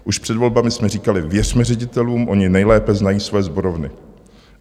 Už před volbami jsme říkali: věřme ředitelům, oni nejlépe znají své sborovny.